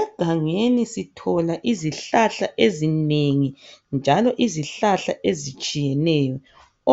Egangeni sithola izihlahla ezinengi njalo izihlahla ezitshiyeneyo